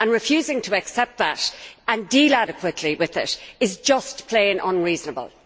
Refusing to accept that and deal adequately with it is just plain unreasonable.